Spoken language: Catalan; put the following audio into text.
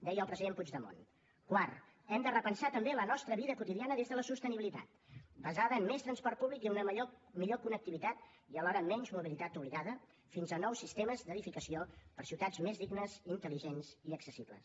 deia el president puigdemont quart hem de repensar també la nostra vida quotidiana des de la sostenibilitat basada en més transport públic i una millor connectivitat i alhora menys mobilitat obligada fins a nous sistemes d’edificació per a ciutats més dignes intel·ligents i accessibles